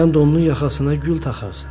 Sən də onun yaxasına gül taxarsan.